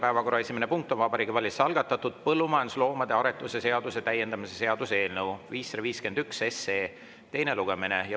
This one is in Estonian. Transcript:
Päevakorra esimene punkt on Vabariigi Valitsuse algatatud põllumajandusloomade aretuse seaduse täiendamise seaduse eelnõu 551 teine lugemine.